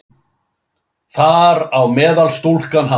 Þar á meðal stúlkan hans.